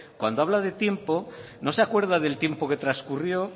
cuando habla de tiempo no se acuerda del tiempo que trascurrió